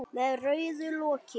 Með rauðu loki.